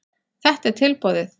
Þetta er tilboðið.